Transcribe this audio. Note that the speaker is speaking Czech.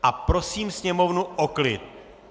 A prosím Sněmovnu o klid.